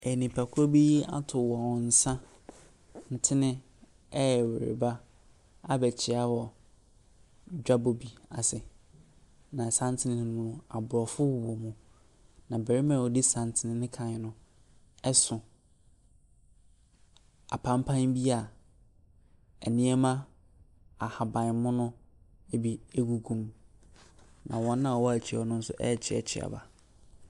Nnipakuo bi ato wɔn santene ɛreba abɛkyia wɔ dwabɔ bi ase. Na santene ne mu no, aborɔfo wɔ mu. Na barima a ofdi santene ne kan no so apampa bi a nneɛma ahabanmono bi gu ne kɔn. Na wɔn a wɔwɔ na’akyi no ɛrekyiakyia wɔn.